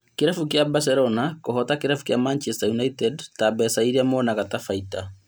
Kĩrabu kĩa Barcelona kũhota kĩrabu kĩa Manchester United na mbeca iria monaga ta baita